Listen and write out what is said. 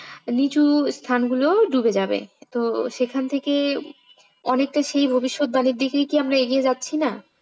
নিচু স্থানগুলো ডুবে যাবে তো সেখান থেকেই অনেকটা সেই ভবিষ্যৎ বাণীর দিকে কি আমরা এগিয়ে যাচ্ছি না?